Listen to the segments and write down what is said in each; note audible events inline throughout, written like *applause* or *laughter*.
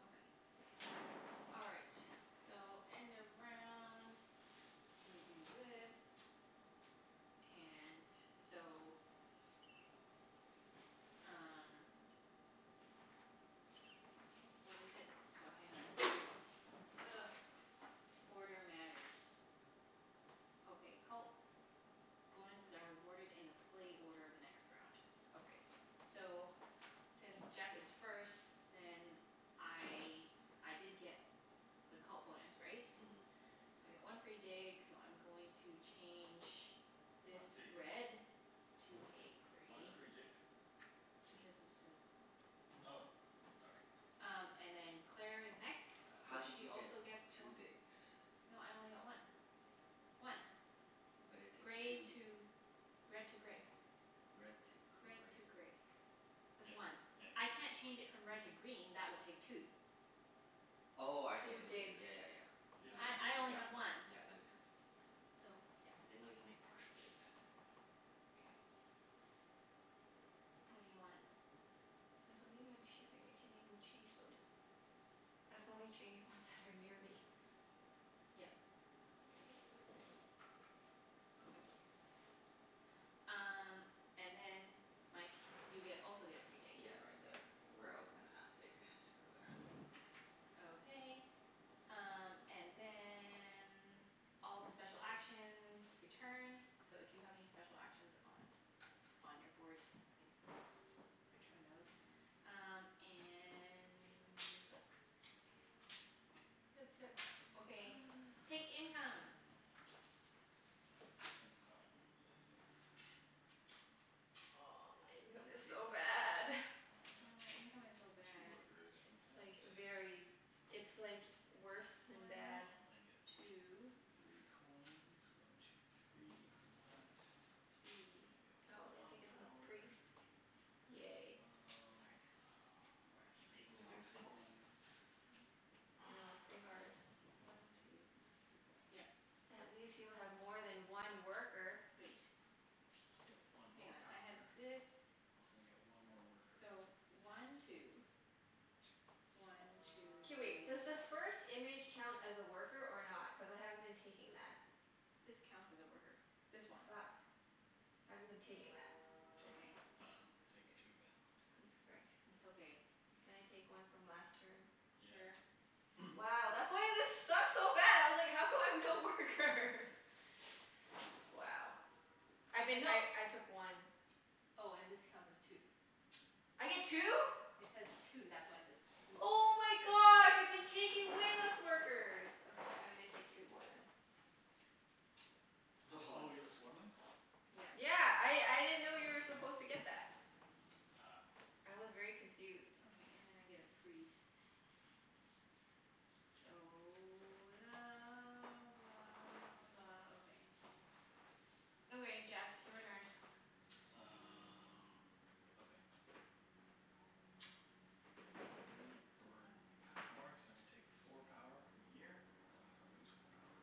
Okay. All right, so end of round. So we do this, and so Um What is it? So hang on. Ugh. Order matters. Okay, cult bonuses are awarded in the play order of the next round. Okay. So since Jeff is first then I, I did get the cult bonus, right? Mhm. So I get one free dig so I'm going to change Not this dig, red. To is it? a Why the gray. free dig? Because it says right there. Oh, sorry. Um and then Claire is next, Uh how so did she you get also gets two one. digs? No, I only got one. One. But it takes Gray two to, red to gray. Red to Red gray. to gray. That's Yeah one. yeah. I can't change it from red to green. That would *noise* take two. Oh, I see I Two see what you did. digs. Yeah yeah yeah. She That doesn't makes I sense. I only Yeah, have one. *inaudible* yeah, that makes sense. So, yeah. I didn't know you could make partial digs. K. What do you want? I don't even have shipping. I can't even change those. I can only change ones that are near me. Yep. Mkay, whatever. *noise* Okay. Um and then Mike you get also get a free dig. Yeah, right there where I was gonna *noise* dig *noise* earlier. *noise* Okay. Um and then all the special actions return. So if you have any special actions on on your board, you can return those. Um and we flip. Flip, flip. Okay, take *noise* income. *noise* Income is Oh, my income One is priests. so bad. *noise* And I got Yeah, my income is so two bad. workers for It's that. like very, it's like worse One than two. Um bad. I get three coins, one two three, from that. I Three. get Oh, at least I one get a little power. priest. Yay. Frick, Um I keep *noise* I get taking the wrong six things. coins. I I know. It's know, pretty hard. it's *noise* pretty hard. One two three four. Yep. At least you have more than one worker. Wait. I get Hang one more on. power. I had And I get one more this, worker. so one two, one two K, three wait. Does the first image count as a worker or not? Cuz I haven't been taking that. This counts as a worker. This one. Fuck. I haven't been taking that. Take, I dunno, take two then. *noise* Oh, frick. It's okay. Can I take one from last turn? Sure. Yeah. *noise* Wow, that's why this sucked so bad. I was like, how come I have no workers? *noise* Wow. I've been, No. I I took one. Oh, and this counts as two. I get two? It says two. That's why it says two. Oh my gosh, I've been taking way less workers. Okay, I'm gonna take two more then. Oh you got *laughs* the swarmlings? Yeah. Yeah. I Ah. I didn't know you were supposed to get that. Ah. I was very confused. Okay, and then I get a priest. So la blah blah, okay. Okay Jeff, your turn. Uh okay. I'm gonna burn power, so I'm gonna take four power from here. That means I lose four power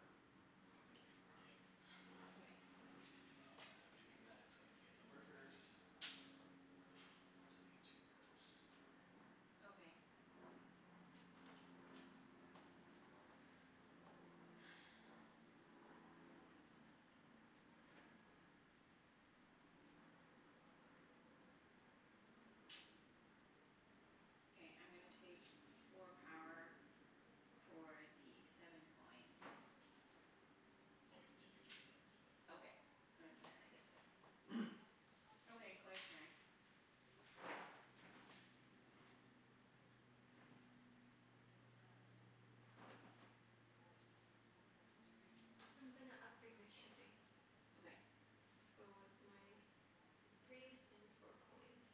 completely from the game. Okay. *noise* Uh and I'm doing that so I can get the workers. Oh, so I get two workers. Okay. *noise* Okay, I'm gonna take four power for the seven coins. Oh yeah, and I Okay. *inaudible* And then I get seven. *noise* *noise* Okay, Claire's turn. *noise* I'm gonna upgrade my shipping. Okay. So it's my priest and four coins.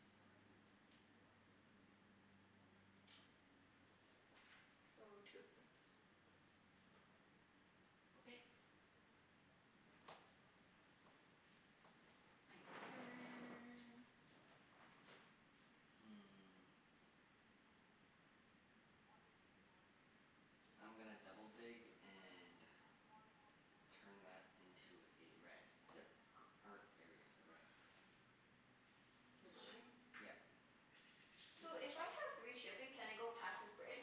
So, two points. Okay. Mike's turn. Hmm. I'm gonna double dig and turn that into a red. The e- earth area into a red. *noise* This Which one, right? Yep. *noise* Two. So, if I have three shipping can I go past this bridge?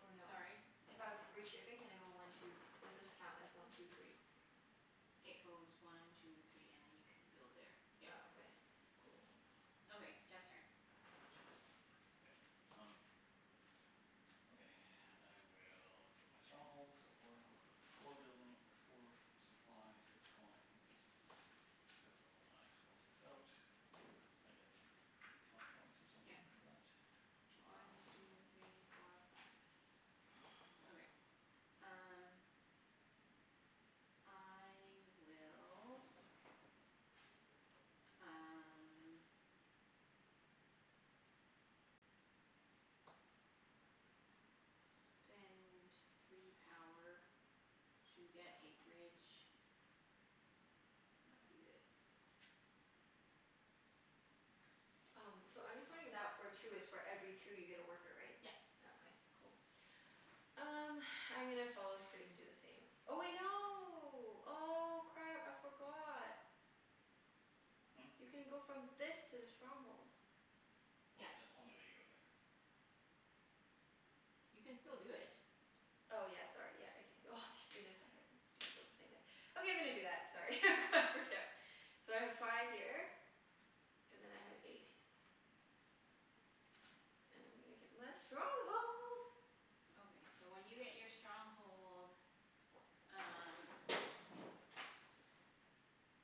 Or no? Sorry? If I have three shipping can I go one two, does this count as one two three? It goes one two three and then you can build there, Oh, yep. okay. Cool. Okay, Jeff's turn. Okay, um Okay. *noise* I will get my stronghold, so four w- four building or four supply, six coins. So I swap this out. I get f- I get five points or Yep. something for that? Wow. One two three four five. Okay, *noise* *noise* um I will um spend three power to get a bridge. And I'll do this. Um, so I'm just wondering that for two, it's for every two you get a worker, right? Yep. Oh, okay. Cool. Um, *noise* I'm gonna follow suit and do the same. Oh wait, no. Oh, crap. I forgot. Hmm? You can go from this to the stronghold. Oh, Yep. that's the only way to go there. You can still do it. Oh yeah, sorry. Yeah. I c- c- oh, thank goodness, I had a stupid little thing there. Okay, I'm gonna do that. Sorry, I got freaked out. So I have five here and then I have eight. And I'm gonna get my stronghold. Okay, so when you get your stronghold um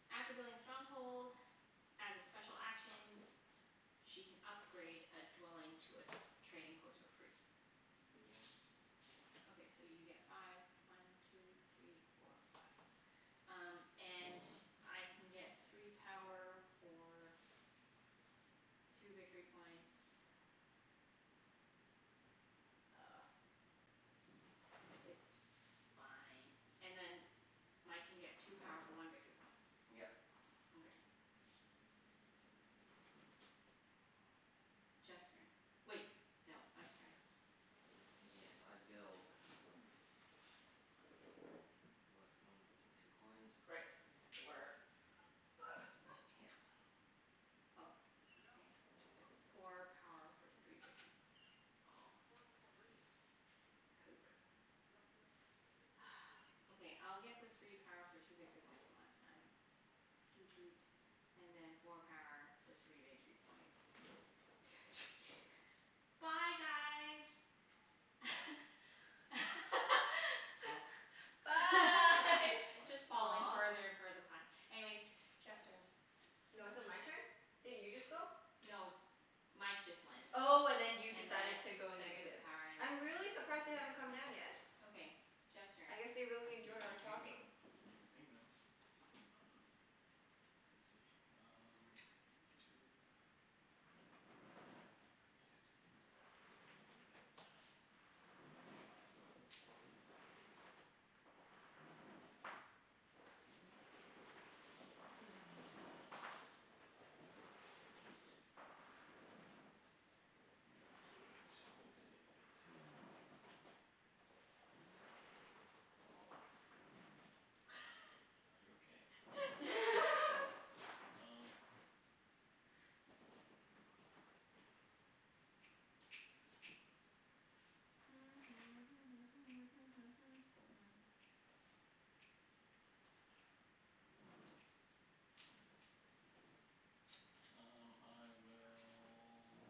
After building a stronghold, as a special action, she can upgrade a dwelling to a trading post for free. Yeah. Okay, so you get five. One two three four five. Um and I can get three power for two victory points. Ugh. It's fine. And then Mike can get two power for one Yep. victory point. Okay. *noise* *noise* Jeff's turn. Wait, no. Mike's turn. Yes, I build. *noise* With one *inaudible* *noise* and two coins. Right. Where That is right here. Oh, okay. Four power for three victor- oh Poop. *noise* Okay, I'll get the three power for two victory points one last time. Doot doot. And then four power for three victory points. Two three *laughs* Bye guys. Huh? *laughs* Bye. What? Just falling Aw. further and further behind. Anyways, Jeff's turn. I No, is it dunno. my turn? Didn't you just go? No, Mike just went. Oh, and then you And then decided I to go took the negative. power I'm really surprised they haven't come down yet. Okay. Jeff's turn. I guess they really You enjoy can our ping them. talking. You can ping them. Uh let's see, um Two *inaudible* priest. If I do that now *noise* Priest priest priest priest. Do I do it? Do I save it? Hello? Are you okay? *laughs* *laughs* Um *noise* Um I will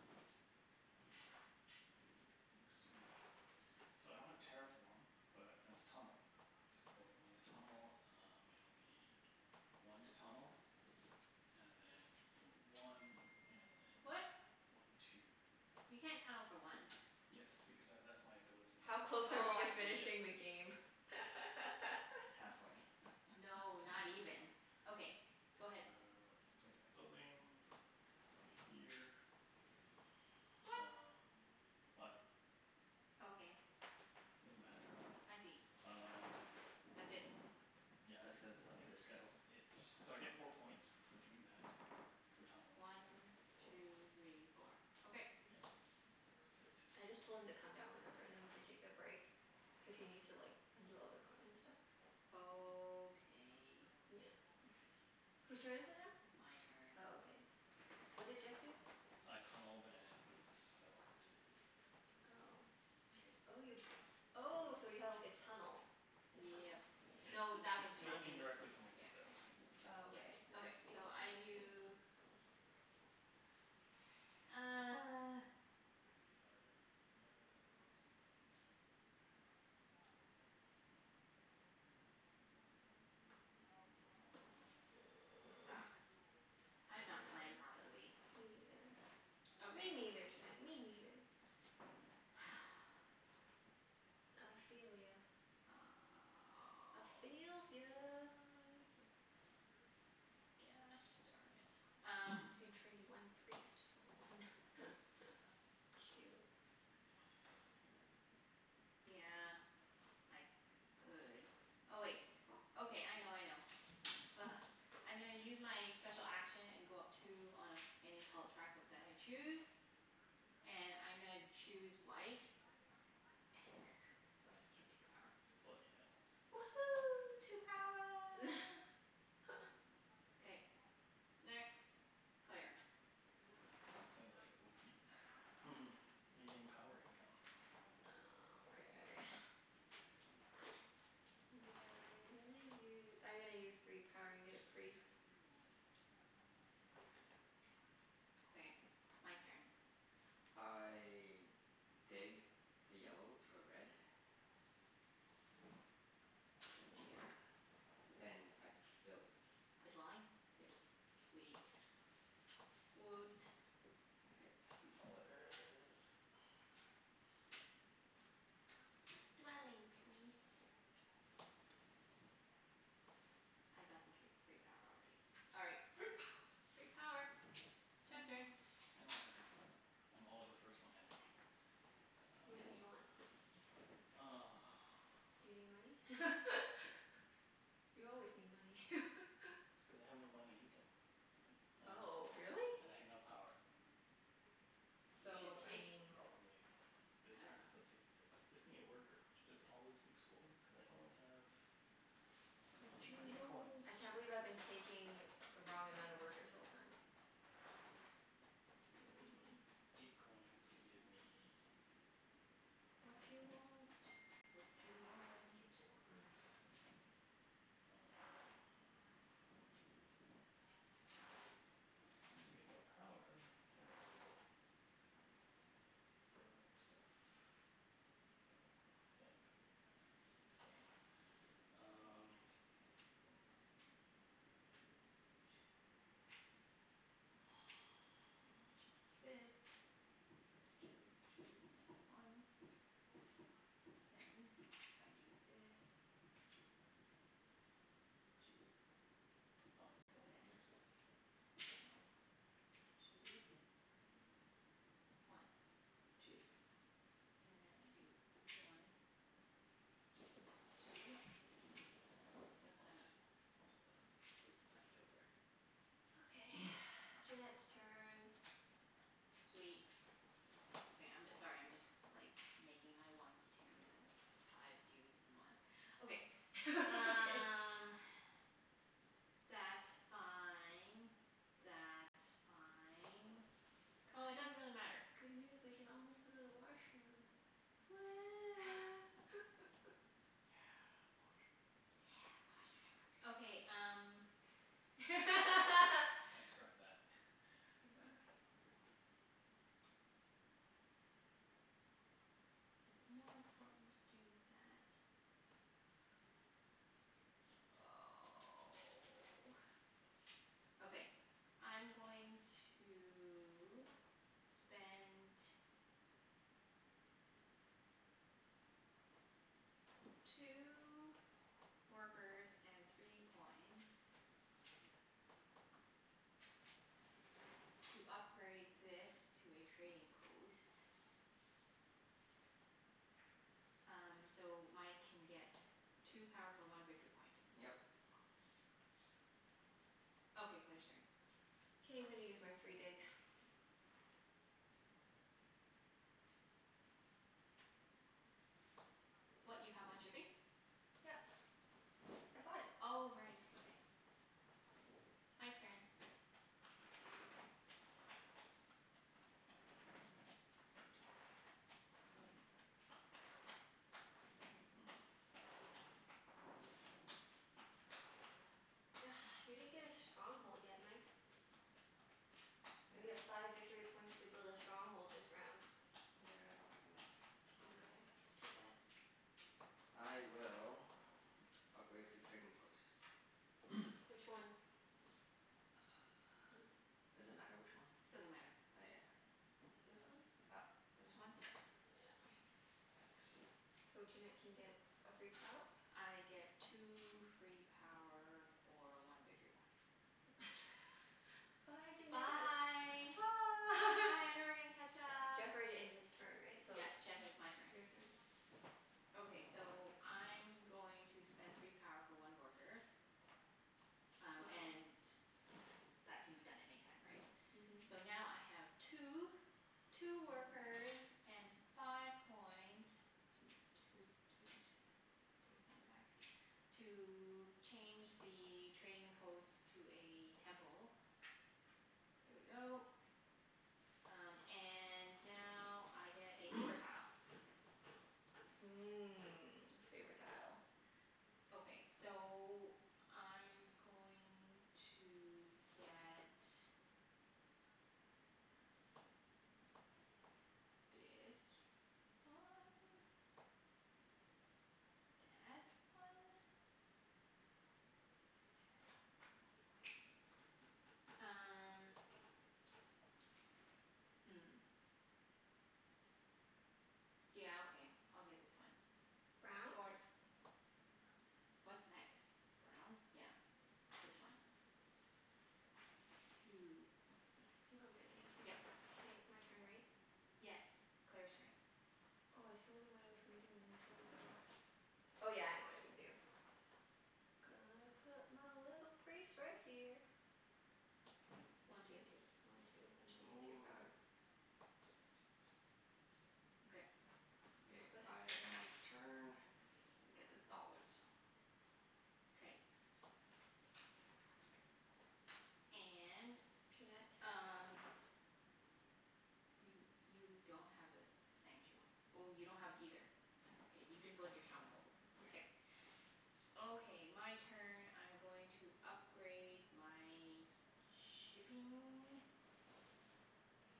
That's sweet. So I don't have terraform but I'm gonna tunnel. So when I tunnel um it'll be one to tunnel, and then one and then What? one two. You can't tunnel for one. Yes, because tha- that's my ability How close now. are Oh, we to I see. Yeah. finishing the game? *laughs* Halfway. No, *laughs* not even. Okay, So, go ahead. I place my building over here. What? Um what? Okay. It doesn't matter. I see. Um That's it. Yeah, That's cuz I of think this skill? that's it. So I get four points for doing that. For tunneling. One two three four. Okay. Yeah, I think that's I just it. told him to come down whenever and then we can take a break. Cuz he needs to like undo all the equipment and stuff. Okay. Yeah. *noise* Whose turn is it now? It's my turn. Oh, okay. What did Jeff do? I tunneled and built a settlement. Oh, inter- oh you, oh so you have like a tunnel, a tunnel? Yep. It No, that it's was still from his, Interesting. indirectly connected yeah, though. anyway. Oh, Yep. okay. I Okay, see. so I Interesting. do *noise* *noise* This sucks. I Yeah, did not plan this sucks. properly. Me neither. Me Okay. neither, Junette, me neither. *noise* I feel ya. I feels ya. *noise* Sucks. Gosh darn it. Um You *noise* can trade one priest for one *laughs* cube. Yeah, I could. Oh, wait. Okay, I know, I know. Ugh. I'm gonna use my special action and go up two on any cult track of that I choose. And I'm gonna choose white. *laughs* So I can get two power. Bloody hell. Woohoo, two power. *laughs* K. Next. Claire. Sounded like *laughs* *inaudible* You getting power income. Oh, okay. *noise* Yeah, I'm gonna u- I'm gonna use three power and get a priest. Okay. Mike's turn. I dig the yellow *noise* to a red. Yeah. And I build. A dwelling? Yes. Sweet. Woot. And I get three dollar. *noise* Dwelling peas. I got the tree free power already. All right. Free power. Free power. Jeff's turn. End my *noise* turn. I'm always the first one ending. Which one do you want? Um *noise* Do you need money? *laughs* You always need money. *laughs* That's cuz I have no money income, uh Oh, really? and I have no power. You So, So, should I take, mean probably this? I dunno. Let's see. So, this could be a worker which is always useful, cuz I only have I have Watchu eight coins. want? I can't believe I've been taking the wrong amount of workers the whole time. Silly me. *noise* Eight coins would give me Watchu want? Watchu want? *inaudible* more workers. Um To get more power I can burn stuff. Well, I have three, so Great. I'm gonna Um change this. *noise* And change *noise* this. *noise* Two two and a one. Then if I do this, two Five and coin then versus one one coin. two. One two. And then I do one *noise* What? two. Still have I'll take that. *noise* this left over. Okay, *noise* *noise* Junette's turn. Sweet. Okay, I'm j- sorry, I'm just like making my ones twos and fives twos and ones. Okay. *laughs* Okay. Um that's fine. That's fine. Oh, it doesn't Guys, really matter. good news. We can almost go to the washroom. Woo. *laughs* Yeah, washroom. Yeah, Yeah, washroom. Okay, um washroom. *laughs* *laughs* Transcribe that. *laughs* Oh my gosh. Is it more important to do that? Oh. Okay, I'm going to spend two workers and three coins to upgrade this to a trading post. Um so Mike can get two power for one victory point. Yep. Okay, Claire's turn. K, I'm gonna use my free dig. *noise* What, you have one shipping? *noise* Yep. I bought it. Oh right. Okay. Mike's turn. Hmm. *noise* You didn't get a stronghold yet, Mike. You get Yeah. five victory points to build a stronghold this round. Yeah, I don't have enough. Mkay, that's too bad. I will upgrade two trading posts. *noise* Which one? *inaudible* Does it matter which one? Doesn't matter. Oh This yeah, one? th- that this This one. one? Yeah. *noise* Yeah. *noise* Thanks. So Junette Yeah. can get a free power? I get two free power for one victory point. *laughs* Bye, Junette. Bye. Bye. Bye, I'm never gonna catch up. Jeff already ended his turn, right? So Yep, it's Jeff, Yeah. it's my turn. your turn. Okay, so I'm going to spend three power for one worker. Um Wow. and that can be done any time, right? So Mhm. now I have two two workers and five coins Toot toot toot. Take one back. To change the trading post to a temple. There we go. Um and now I get a favor *noise* tile. Mmm, favor tile. Okay. So I'm *noise* going to get Dis one. Dat one. Six power *inaudible* um hmm. Yeah, okay. I'll get this one. Brown? Or What's next? Brown? Yeah. This one. Two. *noise* You don't get anything. Yep. K, my turn, right? Yes. Claire's turn. Oh, I so knew what I was gonna do and then I totally forgot. Oh, yeah. I know what I'm gonna do. Gonna put my little priest right here. This One two. can do one two and then I get two power. *noise* *noise* Okay. K, That's I about it. end my turn and get the dollars. K. And Junette? um You you don't have a sanctu- oh, you don't have either. K, you didn't build your stronghold. Yeah. K. Okay. My turn. I'm going to upgrade my shipping.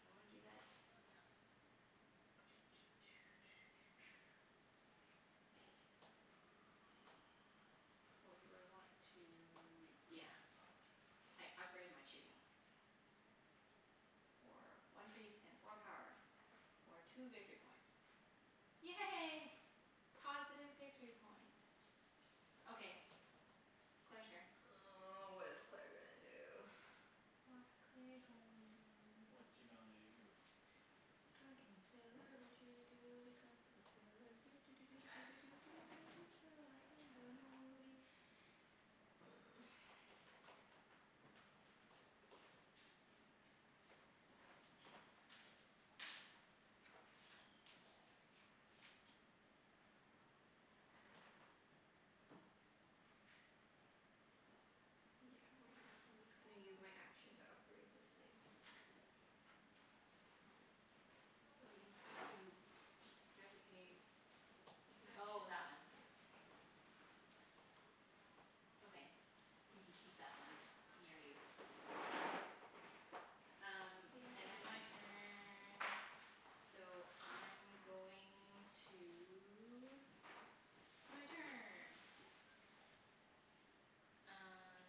Do I wanna do that? *noise* Or do I want to, yeah. I upgrade my shipping. For one priest and four power. *noise* For two victory points. Yay. *noise* Positive victory points. Okay, Claire's turn. Oh, what is Claire gonna do? *noise* What's Claire gonna do? Watcha gonna do? Drunken sailor, watcha gonna do with a drunken sailor, doo doo doo doo doo *laughs* doo doo doo doo early in the morning. *noise* Yeah, why not? I'm just gonna use my action to upgrade this thing. So you have to, you have to pay, It's my oh, action. that one. Yeah. Okay. You can keep that one near you so then *inaudible* Um Your and then turn. my turn. So I'm going to, my turn.